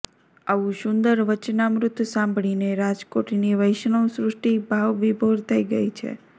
આવું સુંદર વચનામૃત સાંભળીને રાજકોટની વૈષ્ણવ સૃષ્ટિ ભાવવિભોર થઇ છે